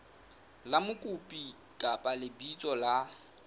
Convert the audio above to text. la mokopi kapa lebitso la